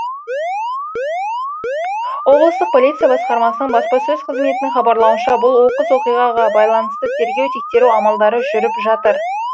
облыстық полиция басқармасының баспасөз қызметінің хабарлауынша бұл оқыс оқиғаға байланысты тергеу тексеру амалдары жүріп жатыр